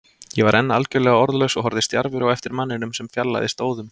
Ég var enn algjörlega orðlaus og horfði stjarfur á eftir manninum sem fjarlægðist óðum.